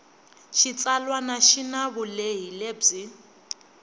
xitsalwana xi na vulehi lebyi